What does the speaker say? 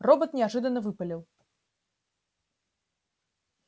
робот неожиданно выпалил